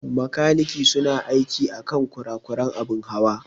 Makaniki su na aiki akan kurakuran abin Hawa.